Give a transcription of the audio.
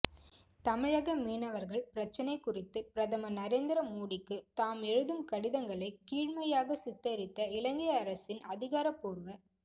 தமிழக மீனவர்கள் பிரச்சினை குறித்து பிரதமர் நரேந்திர மோடிக்கு தாம் எழுதும் கடிதங்களை கீழ்மையாகச் சித்தரித்த இலங்கை அரசின் அதிகாரபூர்வ